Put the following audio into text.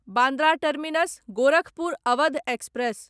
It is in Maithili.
Bandra terminus Gorakhpur Awadh express